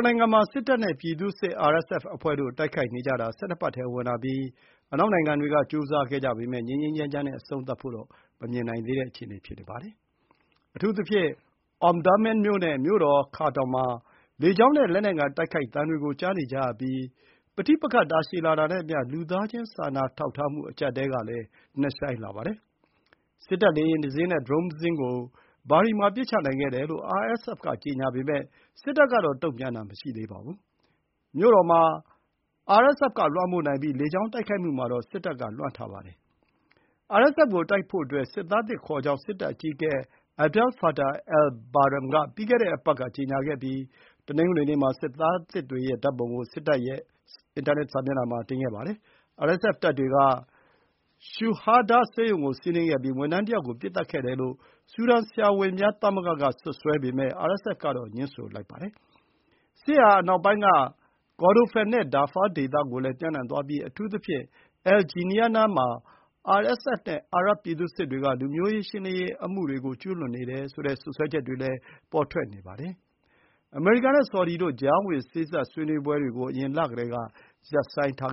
နိုင်ငံမှာ စစ်တပ်နဲ့ ပြည်သူ့စစ် RSF အဖွဲ့တို့ တိုက်ခိုက်နေကြတာ ၁၂ ပတ်ထဲ ဝင်လာပြီး အနောက်နိုင်ငံတွေ က ကြိုးစားကြပေမဲ့၊ ငြိမ်းငြိမ်းချမ်းချမ်း နဲ့ အဆုံးသတ်ဖို့တော့ မမြင်နိုင်သေးပါဘူး။ အထူးသဖြင့် Omdurman မြို့ နဲ့ မြို့တော် Khartoum မှာ လေကြောင်း နဲ့ လက်နက်ငယ် တိုက်ခိုက်သံတွေ ကို ကြားနေကြရပြီး ပဋိပက္ခတာရှည်လာတာနဲ့အမျှ လူသားချင်းစာနာထောက်ထားမှု အကျပ်အတည်းကလည်း နက်ရှိုင်းလာပါတယ်။ စစ်တပ် လေယာဥ်တစ်စင်းနဲ့ အဝေးထိန်းဒရုန်းယာဥ်တစ်စင်း ကို Bahri မှာ ပစ်ချနိုင်ခဲ့တယ်လို့ RSF ကြေညာပေမယ့် စစ်တပ်ကတော့ တုံ့ပြန်တာမရှိသေးပါဘူး။ မြို့တော် မှာ RSF က လွှမ်းမိုးနိုင်ပြီး လေကြောင်း တိုက်ခိုက်မှုမှာတော့ စစ်တပ်က လွှမ်းထားပါတယ်။ RSF ကို တိုက်ဖို့အတွက် စစ်သားသစ် ခေါ်ကြောင်း စစ်တပ် အကြီးအကဲ Abdel Fattah al-Burhan က ပြီးခဲ့တဲ့ အပတ် က ကျေညာခဲ့ပြီး၊ တနင်္ဂနွေနေ့မှာ စစ်သားသစ်တွေ ရဲ့ ဓာတ်ပုံ ကို စစ်တပ် က တင်ခဲ့ပါတယ်။ RSF တပ်တွေ က Shuhada ဆေးရုံ ကို စီးနင်းခဲ့ပြီး၊ ဝန်ထမ်းတစ်ယောက် ကို ပစ်သတ်ခဲ့တယ်လို့ ဆူဒန် ဆရာဝန်များ သမဂ္ဂ က စွပ်စွဲပေမဲ့ RSF ကတော့ ငြင်းဆိုပါတယ်။ စစ် ဟာ အနောက်ပိုင်း က Kordofan နဲ့ Darfur ဒေသတွေ ကိုလည်း ပျံနှံသွားပြီး အထူးသဖြင့် El Geneina မှာ RSF နဲ့ အာရပ် ပြည်သူ့စစ်တွေ က လူမျိုးရှင်းလင်းရေး အမှု ကျူးလွန်နေတဲ့ စွပ်စွဲချက်တွေလည်း ပေါ်ထွက်နေပါတယ်။ အမေရိကန် နဲ့ ဆော်ဒီ တို့ ကြားဝင်စေ့စပ်ရေး ဆွေးနွေးပွဲတွေ ကို အရင်လကတည်း က ရပ်ဆိုင်းထား